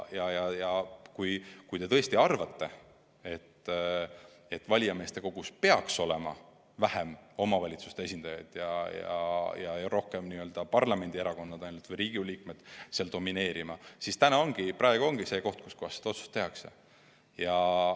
Kui te tõesti arvate, et valijameeste kogus peaks olema vähem omavalitsuste esindajaid ja rohkem parlamendierakondade esindajaid, nii et Riigikogu liikmed domineeriksid, siis praegu ongi õige koht see otsus teha.